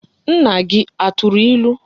Nna gi aturu ilu?